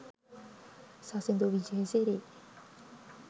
sasindu wijesiri